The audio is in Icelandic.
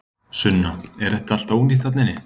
Sunna: Er þetta allt ónýtt þarna inni?